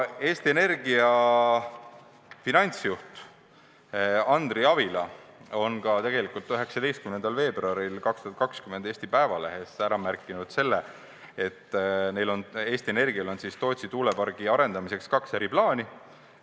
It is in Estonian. Eesti Energia finantsjuht Andri Avila on 19. veebruaril 2020 Eesti Päevalehes märkinud, et Eesti Energial on Tootsi tuulepargi arendamiseks kaks eri plaani.